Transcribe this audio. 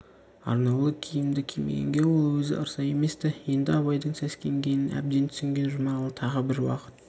арнаулы киімді кимегенге ол өзі ырза емес-ті енді абайдың сескенгенін әбден түсінген жұмағұл тағы бір уақыт